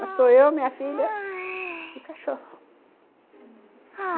Bastou eu, minha filha e cachorro, uhum.